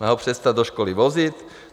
Má ho přestat do školy vozit?